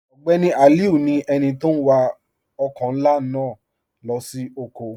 Ogbeni Aliu ni ènì tó n wà ọkọ̀ nlá naa lọ sí ọ̀kọ̀.